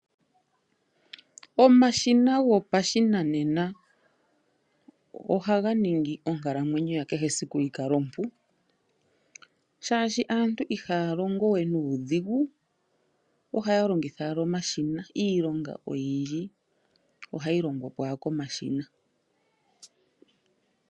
Omashina gopashinanena ohaga ningi onkalamwenyo ya kehesiku yi kale ompu oshoka aantu ihaya longo we nuudhigu ohaya longitha owala omashina, iilonga oyindji ohayi longwapo owala komashina.